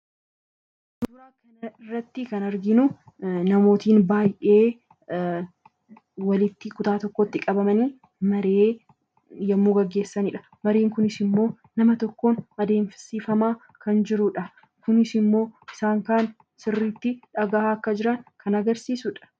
Suuraa kana irratti kan arginu namootiin baay'ee walitti kutaa tokkotti qabamanii maree yommuu geggeessanii dha. Mareen kunis immoo nama tokkoon adeemsifamaa kan jiruudha. Kunis immoo isaan kaan sirriitti dhaga'aa akka jiran kan agarsiisuu dha.